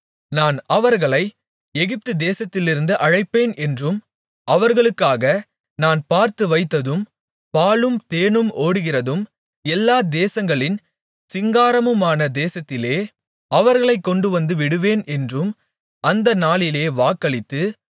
நான் அவர்களை எகிப்துதேசத்திலிருந்து அழைப்பேன் என்றும் அவர்களுக்காக நான் பார்த்துவைத்ததும் பாலும் தேனும் ஓடுகிறதும் எல்லா தேசங்களின் சிங்காரமுமான தேசத்திலே அவர்களைக் கொண்டுவந்துவிடுவேன் என்றும் அந்த நாளிலே வாக்களித்து